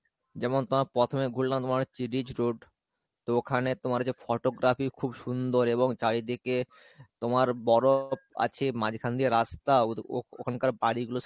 যেমন তোমার প্রথমে ঘুরলাম তোমার হচ্ছে তো ওখানে তোমার যে photography খুব সুন্দর এবং চারিদিকে তোমার বরফ আছে মাঝখান দিয়ে রাস্তা ওখানকার বাড়ি গুলো সব